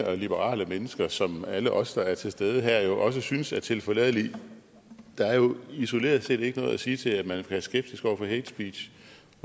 og liberale mennesker som alle os der er til stede her jo også synes er tilforladelige der er jo isoleret set ikke noget at sige til at man være skeptisk over for hatespeech